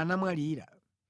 anamwalira.